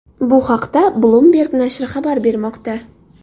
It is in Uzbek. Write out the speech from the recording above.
Bu haqda Bloomberg nashri xabar bermoqda .